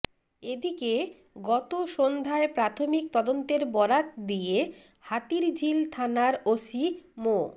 এদিকে গত সন্ধ্যায় প্রাথমিক তদন্তের বরাত দিয়ে হাতিরঝিল থানার ওসি মো